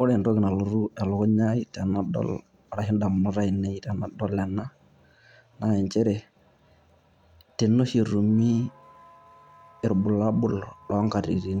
Ore entoki nalotu elukunya aii arashu edamunot ainei tenadol ena naa nchere, tene oshi etumi irobulabul loo ngatitin,